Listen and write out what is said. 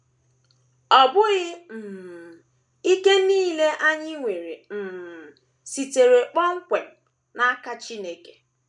Ọ bụghị um ike nile anyị nwere um sitere kpọmkwem n’aka Chineke.